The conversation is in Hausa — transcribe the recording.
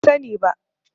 Ban sani ba.